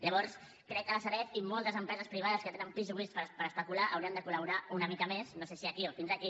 llavors crec que la sareb i moltes empreses privades que tenen pisos buits per especular haurien de col·laborar una mica més no sé si aquí o fins aquí